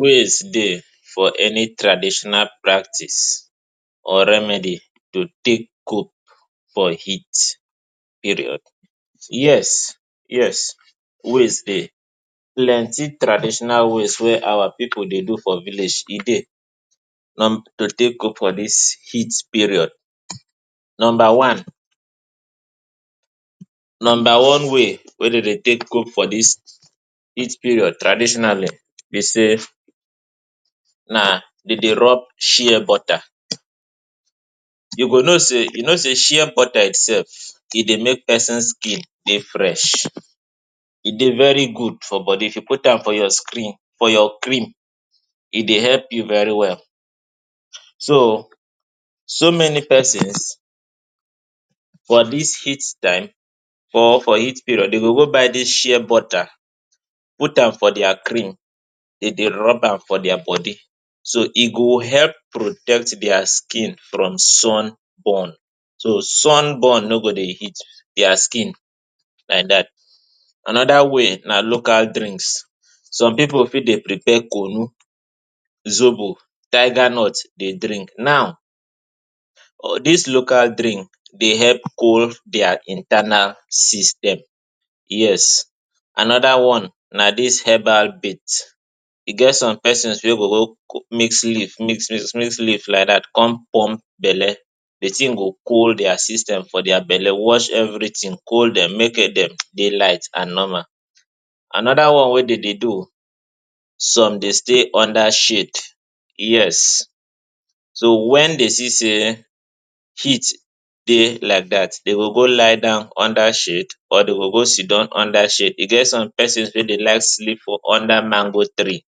Ways dey for any traditional practice or remedy to take cope for heat period? Yes yes, ways dey, plenty traditional ways wey our pipu dey do for village e dey to take cope for dis heat period. Numba one, one way wey dem dey take cope for dis heat period traditionally be say na dem dey rub shear butter. You go know say shear butter itself e dey make pesin skin dey fresh, e dey very good for body. If you put am for your skin, for your cream, e dey help you very well. So, so many pesins for dis heat time or for heat period, dem go go buy dis shear butter, put am for dia cream, dem dey rub am for dia body. So e go help protect dia skin from sun burn, so sun burn no go dey hit dia skin like dat. Anoda way na local drinks. Some pipu fit dey prepare kunu, zobu, tiger nut, dey drink. Now all dis local drink dey help cool dia internal system, yes. Anoda one na dis herbal mix. E get some pesins wey go go mix leaves, mix leaves like dat, come pump belle. Di tin go cool dia system for dia belle, wash evritin, cool dem, make dem dey light and normal. Anoda one wey dem dey do, some dey stay under shade. Yes, so wen dem see say heat dey like dat, dem go go lie down under shade, dem go go sidon under shade. E get some pesins wey dey like sleep for under mango tree